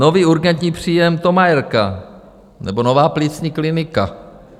Nový urgentní příjem Thomayerka nebo nová plicní klinika.